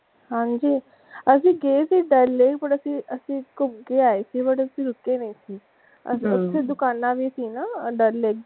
ਹਨਜੀ ਅਸੀਂ ਦੋ ਦਿਨ ਪਹਲੇ ਪਰ ਅਸੀਂ ਘੁੰਮ ਕੇ ਆਏ ਸੀ ਪਰ ਅਸੀਂ ਰੁਕੇ ਨਹੀਂ ਸੀ ਅਸੀਂ ਓਥੇ ਦੁਕਾਨ ਵੀ ਸੀ ਨਾ ਡੱਲ ਲੇਕ ਦੇ,